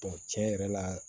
tiɲɛ yɛrɛ la